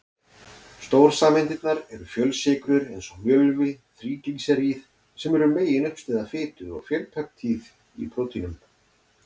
Stórsameindirnar eru fjölsykrur eins og mjölvi, þríglýseríð sem eru meginuppistaða fitu, og fjölpeptíð í prótínum.